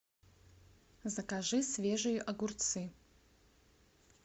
закажи свежие огурцы